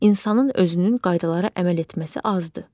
İnsanın özünün qaydalara əməl etməsi azdır.